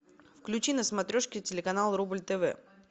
включи на смотрешке телеканал рубль тв